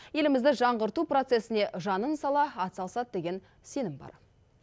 елімізді жаңғырту процесіне жанын сала атсалысады деген сенім бар